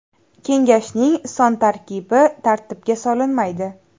Kengashning son tarkibi tartibga solinmaydi.